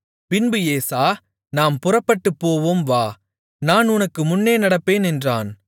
பின்பு ஏசா நாம் புறப்பட்டுப்போவோம் வா நான் உனக்கு முன்னே நடப்பேன் என்றான்